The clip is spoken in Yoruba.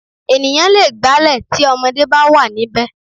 Ènìyàn lè gbálẹ̀ tí ọmọdé bá wà níbẹ̀